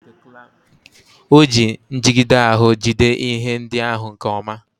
O ji njigide ahụ jide ihe ndị ahụ nke ọma.